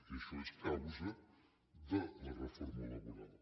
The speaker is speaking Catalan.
i això és causa de la reforma laboral